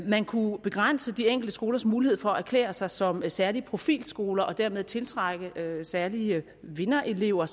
man kunne begrænse de enkelte skolers mulighed for at erklære sig som særlige profilskoler og dermed tiltrække særlige vinderelever